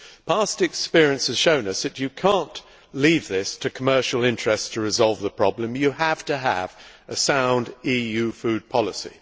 Past experience has shown us that you cannot leave it to commercial interests to resolve this problem. You have to have a sound EU food policy.